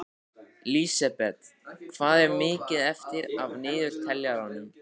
Lísebet, hvað er mikið eftir af niðurteljaranum?